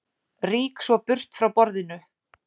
Rýk svo burt frá borðinu.